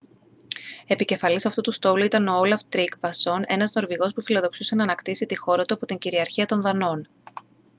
επικεφαλής αυτού του στόλου ήταν ο όλαφ τρίγκβασον ένας νορβηγός που φιλοδοξούσε να ανακτήσει τη χώρα του από την κυριαρχία των δανών